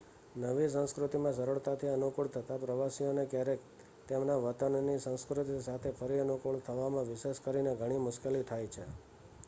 નવી સંસ્કૃતિમાં સરળતાથી અનુકૂળ થતાં પ્રવાસીઓને ક્યારેક તેમના વતનની સંસ્કૃતિ સાથે ફરી અનુકૂળ થવામાં વિશેષ કરીને ઘણી મુશ્કેલી થાય છે